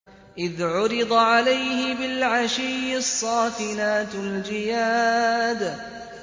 إِذْ عُرِضَ عَلَيْهِ بِالْعَشِيِّ الصَّافِنَاتُ الْجِيَادُ